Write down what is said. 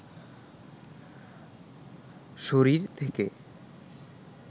শরীর থেকে